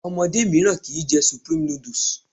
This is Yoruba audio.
Omodé míràn kii jẹ supreme noodles